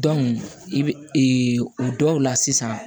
i bɛ o dɔw la sisan